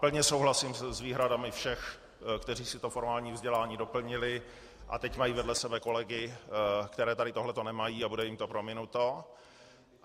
Plně souhlasím s výhradami všech, kteří si to formální vzdělání doplnili a teď mají vedle sebe kolegy, kteří tady tohle nemají, a bude jim to prominuto.